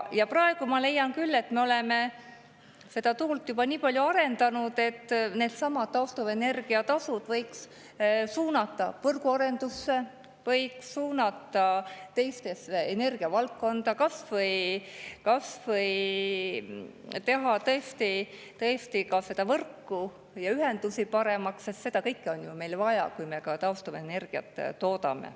Ja praegu ma leian küll, et me oleme tuule juba nii palju arendanud, et needsamad taastuvenergia tasud võiks suunata võrgu arendusse, võiks suunata energiavaldkonnas, kas või teha tõesti võrku ja ühendusi paremaks, sest seda kõike on meil ju vaja, kui me ka taastuvenergiat toodame.